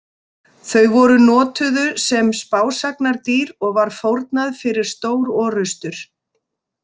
Þau voru notuðu sem spásagnardýr og var fórnað fyrir stórorrustur.